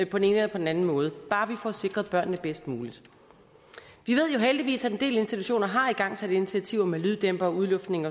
på den anden anden måde bare vi får sikret børnene bedst muligt vi ved jo heldigvis at en del institutioner har igangsat initiativer med lyddæmpere udluftning